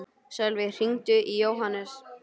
Sölvey, hringdu í Jóhannes.